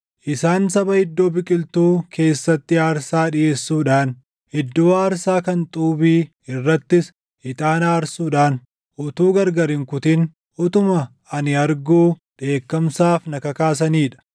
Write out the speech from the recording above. Isaan saba iddoo biqiltuu keessatti aarsaa dhiʼeessuudhaan, iddoo aarsaa kan xuubii irrattis ixaana aarsuudhaan, utuu gargar hin kutin, utuma ani arguu dheekkamsaaf na kakaasanii dha;